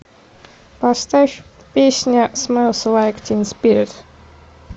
поставь песня смэлс лайк тин спирит